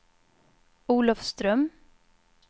Olofström